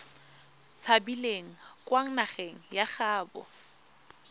tshabileng kwa nageng ya gaabo